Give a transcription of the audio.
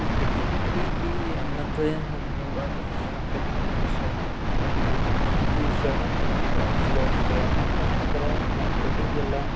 ಈ ಕಟಿಂಗ್ ಅಂಗಡಿ ಏಯ್ ಅನ್ನುತ್ತೆ ನಮ್ಮೂರಾಗೆ ಒಬ್ಬ ಕಟಿಂಗ್ ಮಾಡೋ ಶ್ಯಾಣಪ್ಪ ಇದಾನ್ರೀ ಈ ಶ್ಯಾಣಪ್ಪಣ್ಣ ಬಾರಿ ಚಲೋ ಇದಾನ್ರೀ ಯಾಕಂತಂದ್ರೆ ನಮ್ಮ ಕಟಿಂಗ್ ಎಲ್ಲಾ.